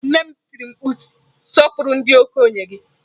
Nne m tiri mkpu si, Sọpụrụ ndị okenye gị!